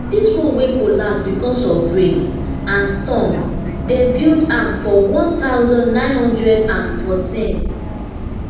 di one wey collapse becos of rain and storm dem build am for one thousand, nine hundred and fourteen